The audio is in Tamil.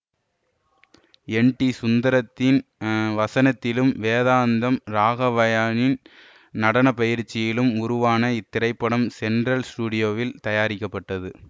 என் டி சுந்தரத்தின் இஎ வசனத்திலும் வேதாந்தம் ராகவய்யாவின் நடனப்பயிற்சியிலும் உருவான இத்திரைப்படம் சென்ட்ரல் ஸ்டூடியோவில் தயாரிக்கப்பட்டது